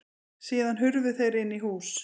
Síðan hurfu þeir inn í hús.